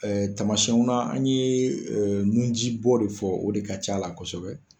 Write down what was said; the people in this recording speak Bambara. tamasiɛnw na an ye nun ji bɔ de fɔ o de ka ca la kosɛbɛ;